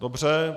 Dobře.